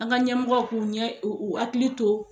An ga ɲɛmɔgɔ k'u ɲɛ u hakili to